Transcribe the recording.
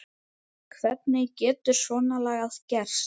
Hvernig getur svona lagað gerst?